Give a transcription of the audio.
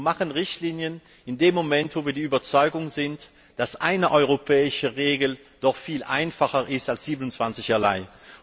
Wir machen Richtlinien in dem Moment, wo wir der Überzeugung sind, dass eine europäische Regel doch viel einfacher ist als 27 einzelne.